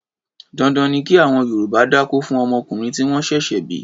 Dandan ni kí àwọn Yorùbá dákó fún ọmọkùnrin tí wọ́n ṣẹ̀ṣẹ̀ bí.